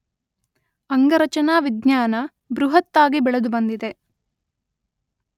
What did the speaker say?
ಅಂಗರಚನಾ ವಿಜ್ಞಾನ ಬೃಹತ್ತಾಗಿ ಬೆಳೆದುಬಂದಿದೆ.